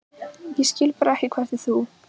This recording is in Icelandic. Ég skil bara ekki hvernig þú.